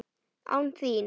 Án þín!